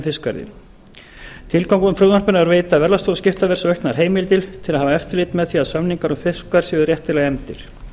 fiskverði tilgangurinn með frumvarpinu er að veita verðlagsstofu skiptaverðs auknar heimildir til að hafa eftirlit með því að samningar um fiskverð séu réttilega efndir